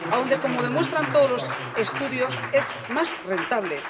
A donde, como demuestran todos los estudios, es más rentable.